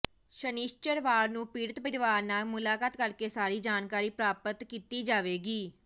ਸ਼ਨਿਚਰਵਾਰ ਨੂੰ ਪੀੜਤ ਪਰਿਵਾਰ ਨਾਲ ਮੁਲਾਕਾਤ ਕਰ ਕੇ ਸਾਰੀ ਜਾਣਕਾਰੀ ਪ੍ਰਰਾਪਤ ਕੀਤੀ ਜਾਵੇਗੀ